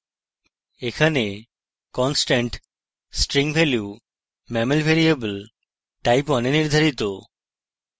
এখানে constant string value mammal variable type1 এ নির্ধারিত